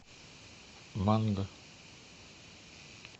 манго